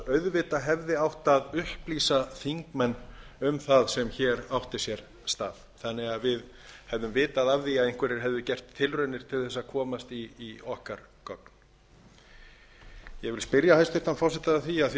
auðvitað hefði átt að upplýsa þingmenn um það sem hér átti sér stað þannig að við hefðum vitað af því að einhverjir hefðu gert tilraunir til þess að komast í okkar gögn ég spyr hæstvirts forseta af því að hún hefur